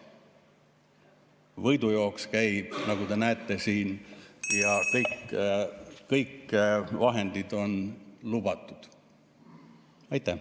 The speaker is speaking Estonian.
Võidujooks käib, nagu te näete, ja kõik vahendid on lubatud.